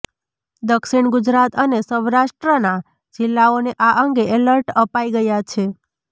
દક્ષિણ ગુજરાત અને સૌરાષ્ટ્રના જિલ્લાઓને આ અંગે અલર્ટ અપાઈ ગયા છે